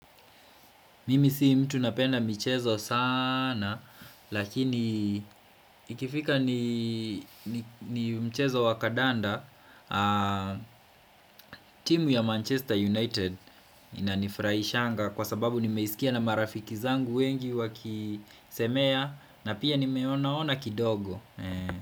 Mimi si mtu napenda mchezo sana lakini ikifika ni ni mchezo wakadanda timu ya Manchester United inanifurahishanga kwa sababu nimeisikia na marafiki zangu wengi wakisemea na pia nimeonaona kidogo.